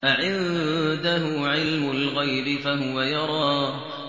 أَعِندَهُ عِلْمُ الْغَيْبِ فَهُوَ يَرَىٰ